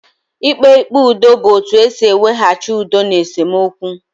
Ikpe ikpe ụdọ bu otu ụzọ esị iwehachi udo n' esemokwu